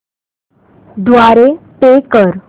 द्वारे पे कर